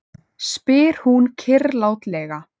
spyr hún kyrrlátlega.